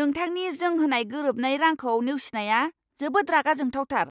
नोंथांनि जों होनाय गोरोबनाय रांखौ नेवसिनाया जोबोद रागा जोंथावथार!